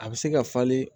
A bɛ se ka falen